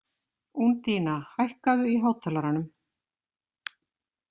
Úndína, hækkaðu í hátalaranum.